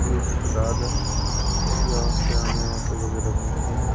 ये अस्पताल है यहाँ से हमें ऑटो वगैरह मिलते हैं।